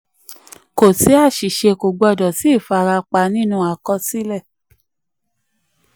kò sí àṣìṣe kò gbọdọ̀ sí ìfarapa nínú àkọsílẹ̀.